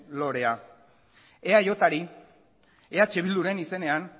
lorea eajri eh bilduren izenean